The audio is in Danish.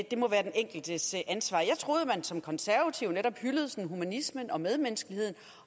det må være den enkeltes ansvar jeg troede at man som konservativ netop hyldede humanismen og medmenneskeheden